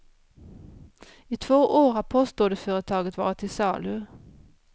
I två år har postorderföretaget varit till salu.